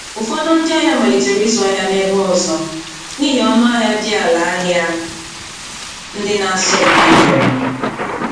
Ụfọdụ ndị ahịa malitere ịzụ ahịa n’ebe ọzọ n’ihi ọnụahịa dị ala ahịa ndị na-asọ mpi nyere.